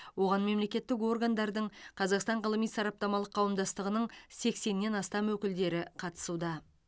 оған мемлекеттік органдардың қазақстан ғылыми сараптамалық қауымдастығының сексеннен астам өкілдері қатысуда